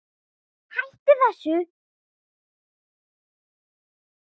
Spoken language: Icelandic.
Hættu þessu!